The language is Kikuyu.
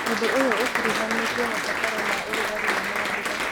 ũndũ ũyũ ũkuruhanĩtie mabataro ma ũrugarĩ na mbura.